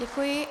Děkuji.